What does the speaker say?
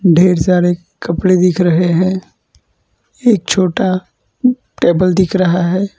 ढेर सारे कपड़े दिख रहे हैं एक छोटा उँ टेबल दिख रहा है।